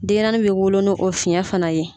Denɲɛrɛnin bɛ wolo no o fiyɛn fana ye.